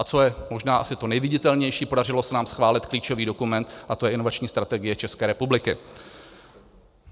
A co je možná asi to neviditelnější, podařilo se nám schválit klíčový dokument, a to je Inovační strategie České republiky.